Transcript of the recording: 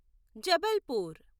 Jabalpur